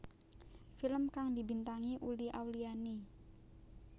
Film kang dibintangi Uli Auliani